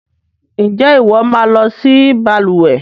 Ǹjẹ́ ìwọ máa lọ si balùwẹ́